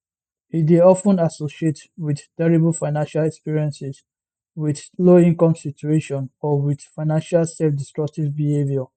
e dey of ten associate wit terrible financial experiences wit lowincome situation or wit financial selfdestructive behaviour